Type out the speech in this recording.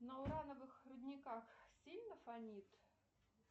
на урановых рудниках сильно фонит